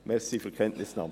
Besten Dank.